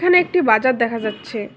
নে একটি বাজার দেখা যাচ্ছে।